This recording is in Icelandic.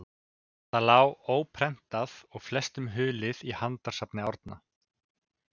Það lá óprentað og flestum hulið í handritasafni Árna.